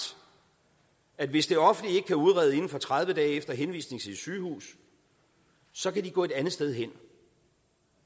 at hvis det offentlige ikke kan udrede inden for tredive dage efter henvisning til et sygehus så kan de gå et andet sted hen